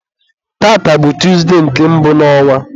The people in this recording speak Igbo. tata bụ Tuzde nke mbụ n'ọnwa.